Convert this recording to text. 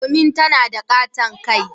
Domin tana da katon kai.